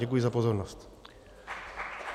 Děkuji za pozornost.